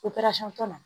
na